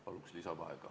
Palun lisaaega!